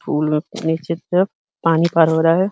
फूल में पानी पानी पार हो रहा है।